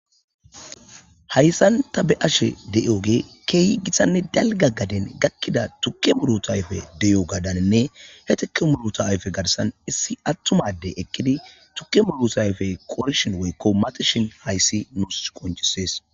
Hayssan ta be ashe deyooge keehi githanne dalga gaden gakkida tukke muruta ayfe deyo gadaninne he tuke muruta ayfe garsan issi attumadey ekkidi tukke muruta ayfe koorishon weykko matishin hayssi nus koncisees